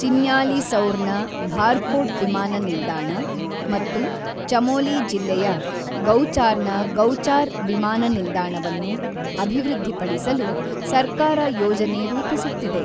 ಚಿನ್ಯಾಲಿಸೌರ್‌ನ ಭಾರ್ಕೋಟ್ ವಿಮಾನ ನಿಲ್ದಾಣ ಮತ್ತು ಚಮೋಲಿ ಜಿಲ್ಲೆಯ ಗೌಚಾರ್‌‌ನ ಗೌಚಾರ್ ವಿಮಾನ ನಿಲ್ದಾಣವನ್ನು ಅಭಿವೃದ್ಧಿಪಡಿಸಲು ಸರ್ಕಾರ ಯೋಜನೆ ರೂಪಿಸುತ್ತಿದೆ.